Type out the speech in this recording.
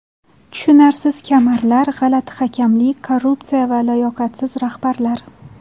Tushunarsiz kamarlar, g‘alati hakamlik, korrupsiya va layoqatsiz rahbarlar.